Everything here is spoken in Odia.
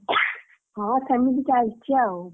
ହଁ ସେମିତି ଚାଲିଛି ଆଉ।